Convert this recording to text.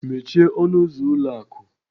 Mechie ọnụ ụzọ ụlọ akụ!